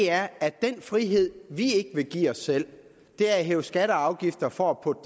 er at den frihed vi ikke vil give os selv er at hæve skatter og afgifter for at putte